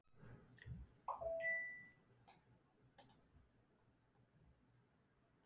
Kristján Már: En gátuð þið ekki staðið saman að henni?